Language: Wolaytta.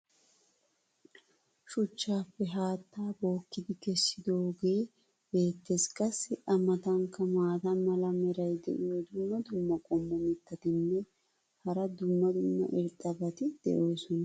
shuchchaappe haattaa bookkidi kessidoogee beetees. qassi a matankka maata mala meray diyo dumma dumma qommo mitattinne hara dumma dumma irxxabati de'oosona.